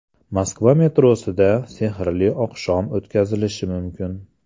Moskva metrosida sehrli oqshom o‘tkazilishi mumkin.